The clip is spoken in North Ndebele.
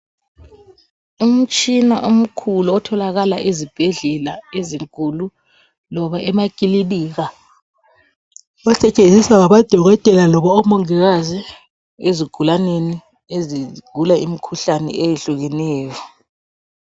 Umtshina omkhulu, otholakala ezibhedlela ezinkulu, loba emakilinika. Osetshenziswa ngamadokotela loba omongikazi, ezigulaneni, ezigula imikhuhlane eyehlukeneyo.